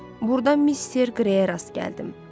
Burdan Mister Grayə rast gəldim.